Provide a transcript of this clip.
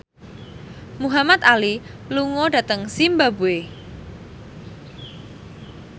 Muhamad Ali lunga dhateng zimbabwe